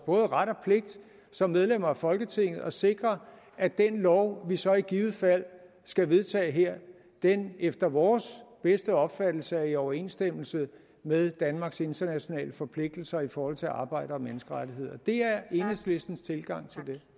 ret og pligt som medlemmer af folketinget at sikre at den lov vi så i givet fald skal vedtage her efter vores bedste opfattelse er i overensstemmelse med danmarks internationale forpligtelser i forhold til arbejde og menneskerettigheder det er enhedslistens tilgang